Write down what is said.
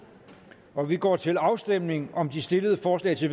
og vi går til afstemning om de stillede forslag til